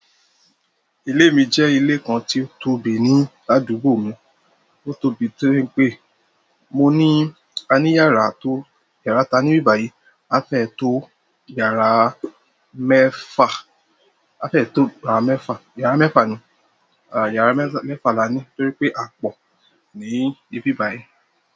Ilé mi jẹ́ ilé kan tí ó tóbi ní àdúgbò mi. Ó tóbi torí pé mo ní, a ní yàrá tó, yàrá ta ní ni ìbi báyìí. A fẹ́ to yàrá mẹfa, a fẹ́ to yàrá mẹfa, yàrá mẹfa ni, yàrá mẹfa la ní torí pé a pọ̀ ní ibí bàyìí.